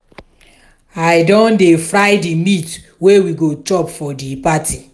i don dey fry di meat wey we go chop for di party.